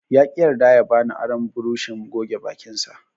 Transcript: Yaƙi yarda ya bani aron burushin goge bakinsa.